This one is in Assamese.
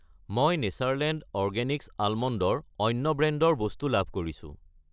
মই নেচাৰলেণ্ড অৰগেনিক্ছ আলমণ্ড, ৰ অন্য ব্ৰেণ্ডৰ বস্তু লাভ কৰিছোঁ।